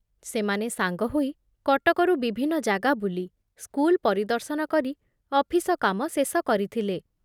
ସେମାନେ ସାଙ୍ଗ ହୋଇ କଟକରୁ ବିଭିନ୍ନ ଜାଗା ବୁଲି, ସ୍କୁଲ ପରିଦର୍ଶନ କରି ଅଫିସ କାମ ଶେଷ କରିଥିଲେ ।